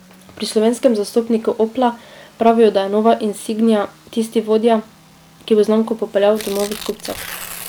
Pri slovenskem zastopniku Opla pravijo, da je nova insignia tisti vodja, ki bo znamko popeljal do novih kupcev.